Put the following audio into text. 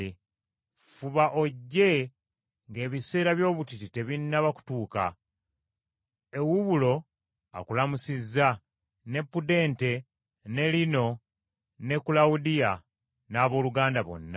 Fuba ojje ng’ebiseera by’obutiti tebinnaba kutuuka. Ewubulo akulamusizza, ne Pudente, ne Lino, ne Kulawudiya, n’abooluganda bonna.